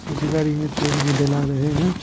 उसी गाड़ी में तेल भी डाला रहे है।